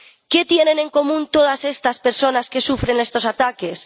¿Qué tienen en común todas estas personas que sufren estos ataques?